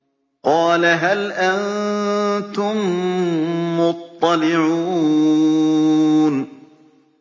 قَالَ هَلْ أَنتُم مُّطَّلِعُونَ